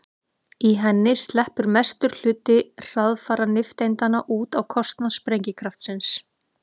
í henni sleppur mestur hluti hraðfara nifteindanna út á kostnað sprengikraftsins